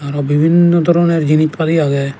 aro bibinnoi doroner jinich padi agey.